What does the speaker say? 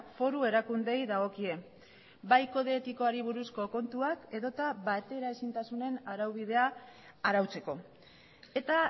foru erakundeei dagokie bai kode etikoari buruzko kontuak edota bateraezintasunen araubidea arautzeko eta